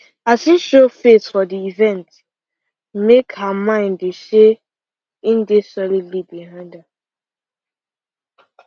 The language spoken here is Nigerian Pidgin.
as him show face for the event make her mind dey say im dey solidly behind her